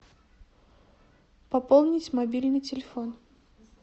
пополнить мобильный телефон